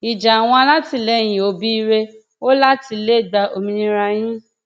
ìjà àwọn alátìlẹyìn òbí rèé o láti lè gba òmìnira yín